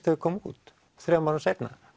þau koma út þremur árum seinna